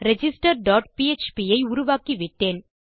register dot PHP ஐ உருவாக்கிவிட்டேன்